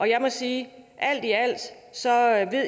jeg må sige